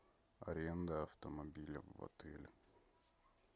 аренда автомобиля в отеле